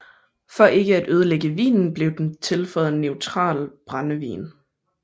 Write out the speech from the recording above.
For ikke at ødelægge vinen blev den tilføjet neutral brændevin